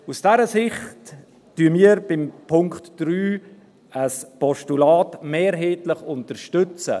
Aus dieser Sicht unterstützen wir beim Punkt 3 mehrheitlich ein Postulat.